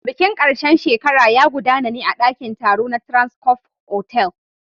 Bikin ƙarshen shekara ya gudana ne a ɗakin taro na Transcof otel.